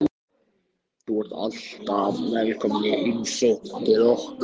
Þú ert alltaf velkomin í heimsókn til okkar.